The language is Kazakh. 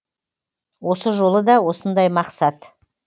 осы жолы да осындай мақсат